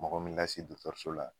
Mɔgɔ min ka si so la